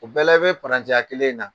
O bɛɛ la i bɛ kelen in na.